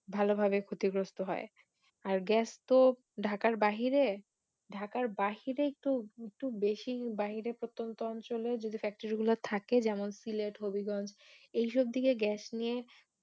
ভালোভাবে ক্ষতিগ্রস্ত হয় আর Gas তো ঢাকার বাহিরে ঢাকার বাহিরে একটু বেশি বাহিরে প্রত্যন্ত অঞ্চলে যে Factory গুলো থাকে যেমন সিলেট হবিগজ্ঞ এইসব দিকে Gas নিয়ে